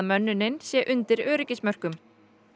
mönnunin sé undir öryggismörkum